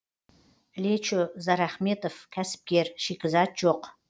лечо зарахметов кәсіпкер шикізат жоқ